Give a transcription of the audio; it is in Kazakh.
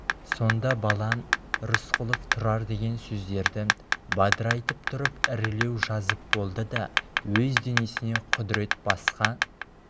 сонда бала рысқұлов тұрар деген сөздерді бадырайтып тұрып ірілеу жазып болды да өз денесіне құдірет басқа